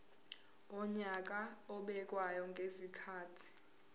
wonyaka obekwayo ngezikhathi